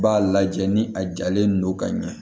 B'a lajɛ ni a jalen don ka ɲɛ